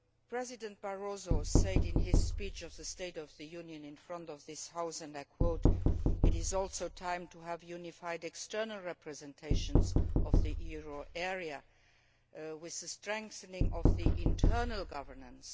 President Barroso said in his speech on the State of the Union in this House that it is also time to have unified external representations of the euro area with the strengthening of the internal governance.